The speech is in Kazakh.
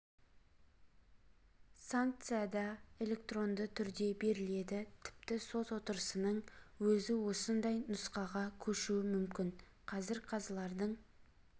санкция да электронды түрде беріледі тіпті сот отырысының өзі осындай нұсқаға көшуі мүмкін қазір қазылардың